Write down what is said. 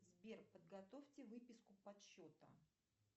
сбер подготовьте выписку подсчета